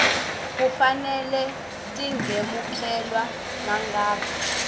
kufanele tingemukelwa nangabe